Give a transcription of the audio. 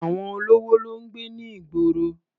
Àwọn olówó ló ń gbé ní ìgboro.